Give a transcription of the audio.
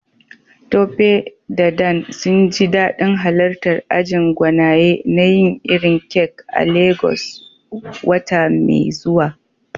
Tope da Dan sun ji dadin halartar ajin gwanaye na yin irin kek a Legas wata mai zuwa.